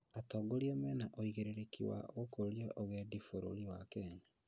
Atongoria mena ũigĩrĩrĩki wa gũkũria ũgendi bũrũri wa kenya